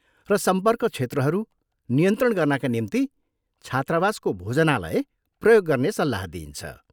र सम्पर्क क्षेत्रहरू नियन्त्रण गर्नाका निम्ति छात्रावासको भोजनालय प्रयोग गर्ने सल्लाह दिइन्छ।